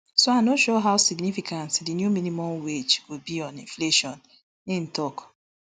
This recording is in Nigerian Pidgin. so i no sure how significant di new minimum wage go be on inflation im tok